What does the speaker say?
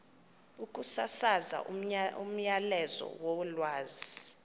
ukusasaza umyalezo wolwazi